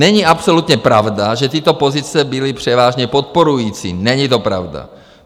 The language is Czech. Není absolutně pravda, že tyto pozice byly převážně podporující, není to pravda.